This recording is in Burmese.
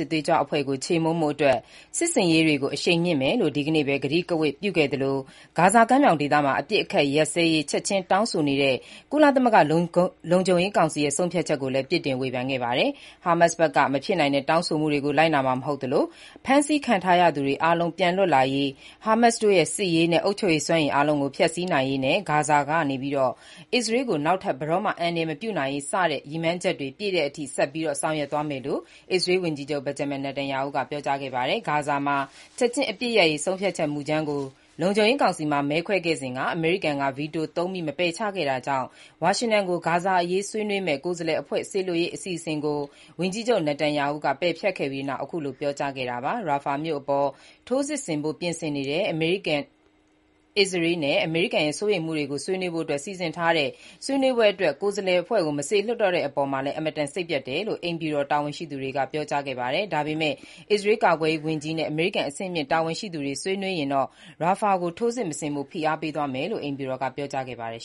စ်သွေးကြွအဖွဲ့ကို ချေမှုန်းဖို့အတွက် စစ်ဆင်ရေးတွေကို အရှိန်မြှင့်ဆက်လုပ်သွားမယ်လို့ အစ္စရေးဝန်ကြီးချုပ် Benjamin Netanyahu က ဒီနေ့ထပ်မံကတိပြုလိုက်ပြီး၊ ဂါဇာကမ်းမြောင်ဒေသမှာ ချက်ချင်း အပစ်ရပ်ဖို့ တောင်းဆိုထားတဲ့ကုလသမဂ္ဂ လုံခြုံရေးကောင်စီရဲ့ ဆုံးဖြတ်ချက်ကိုလည်း ဝေဖန်ပြစ်တင်ခဲ့ပါတယ်။ Hamas ဘက်က မဖြစ်နိုင်တဲ့တောင်းဆိုမှုတွေကို လိုက်နာမှာ မဟုတ်သလို၊ ဖမ်းဆီးခံထားရသူတွေ အားလုံးပြန်လွတ်လာရေး၊ Hamas တို့ရဲ့ စစ်ရေးနဲ့ အုပ်ချုပ်ရေးစွမ်းရည်အားလုံးကို ဖျက်စီးနိုင်ရေးနဲ့ ဂါဇာထဲကနေ အစ္စရေးကို နောက်ထပ် ဘယ်တော့မှအန္တရာယ်မပြုနိုင်ရေး စတဲ့ရည်မှန်းချက်တွေပြည့်တဲ့အထိ ဆက်ပြီးဆောင်ရွက်သွားမယ်လို့ အစ္စရေးဝန်ကြီးချုပ် Netanyahu ကပြောကြားခဲ့ပါတယ်။ ဂါဇာမှာ ချက်ချင်းအပစ်ရပ်ရေးဆုံးဖြတ်ချက်မူကြမ်းကို လုံခြုံရေးကောင်စီမှာ မဲခွဲစဉ်က အမေရိကန်က ဗီတိုသုံး မပယ်ချခဲ့တာကြောင့် ဝါရှင်တန်ကို ဂါဇာအရေးဆွေးနွေးမယ့် ကိုယ်စားလှယ်အဖွဲ့စေလွှတ်ရေး အစီအစဉ်ကို ဝန်ကြီးချုပ် Netanyahu ကဖျက်ခဲ့ပြီးနောက် ခုလိုပြောကြားခဲ့တာပါ။ Rafah မြို့အပေါ် ထိုးစစ်ဆင်ဖို့ပြင်ဆင်နေတဲ့ အစ္စရေးနဲ့ အမေရိကန်ရဲ့ စိုးရိမ်မှုတွေကို ဆွေးနွေးဖို့ စီစဉ်ထားတဲ့ ဆွေးနွေးပွဲအတွက် ကိုယ်စားလှယ်အဖွဲ့ မလွှတ်တော့တဲ့အပေါ် အင်မတန်စိတ်ပျက်တယ်လို့ အိမ်ဖြူတော် တာဝန်ရှိသူတွေက ပြောကြားခဲ့ပါတယ်။ ဒါပေမဲ့ အစ္စရေးကာကွယ်ရေးဝန်ကြီးနဲ့ အမေရိကန်အဆင့်မြင့်တာဝန်ရှိသူတွေ ဆွေးနွေးရင်တော့ Rafah ကိုထိုးစစ် မဆင်ဖို့ ဖိအားပေးသွားမယ်လို့ အိမ်ဖြူတော်က ပြောကြားခဲ့ပါတယ်